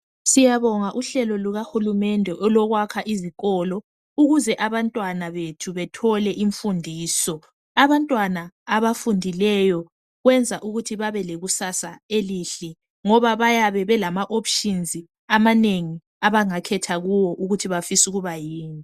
Siyabonga uhlelo lukahulumende ngokusakhela izikolo ukuze abantwana bethu bethole imfundiso abantwana abafundileyo kwenza ukuthi bebe lekusasa elihle ngoba bayabe belama options amanengi abangakhetha kuwo ukuthi bafisa ukuba yini.